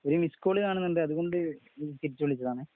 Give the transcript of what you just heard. ഒരു മിസ്സ്കാള് കാണുന്നുണ്ട്. അതുകൊണ്ട് തിരിച്ചുവിളിച്ചതാണ്.